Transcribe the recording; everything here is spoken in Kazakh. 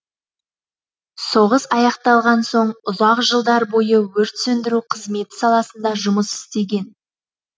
соғыс аяқталған соң ұзақ жылдар бойы өрт сөндіру қызметі саласында жұмыс істеген